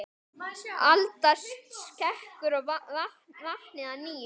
Alda skekur vatnið að nýju.